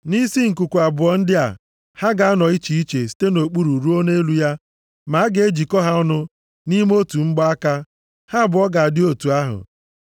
Nʼisi nkuku abụọ ndị a, ha ga-anọ iche iche site nʼokpuru ruo nʼelu ya, ma a ga-ejikọ ha ọnụ nʼime otu mgbaaka, ha abụọ ga-adị otu ahụ.